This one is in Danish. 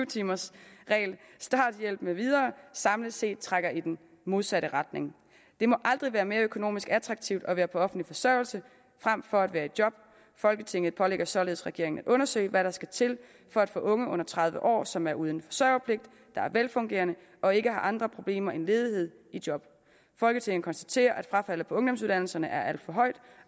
timers reglen starthjælp med videre samlet set trækker i den modsatte retning det må aldrig være mere økonomisk attraktivt at være på offentlig forsørgelse frem for at være i job folketinget pålægger således regeringen at undersøge hvad der skal til for at få unge under tredive år som er uden forsørgerpligt der er velfungerende og ikke har andre problemer end ledighed i job folketinget konstaterer at frafaldet på ungdomsuddannelserne er alt for højt